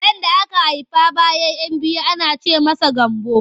Ɗan da aka haifa bayan 'yan biyu ana ce masa Gambo.